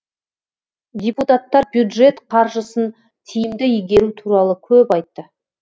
депутаттар бюджет қаржысын тиімді игеру туралы көп айтты